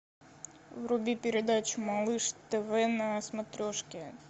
вруби передачу малыш тв на смотрешке